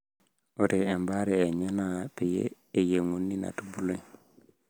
ore ebaare enye naa pee eyieng'uni ina tubului.